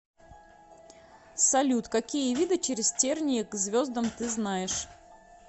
салют какие виды через тернии к звездам ты знаешь